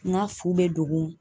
N ka fu bɛ dogo